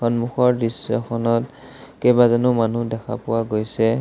সন্মুখৰ দৃশ্যখনত কেইবাজনো মানুহ দেখা পোৱা গৈছে।